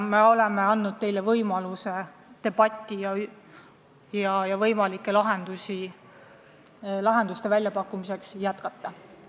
Me oleme andnud teile võimaluse debatti võimalike lahenduste väljapakkumiseks jätkata.